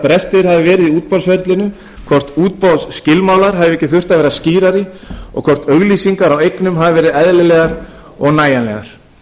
brestir hafi verið í útboðsferlinu hvort útboðsskilmálar hefðu ekki þurft að vera skýrari og hvort auglýsingar á eignum hafi verið eðlilegar og nægilegar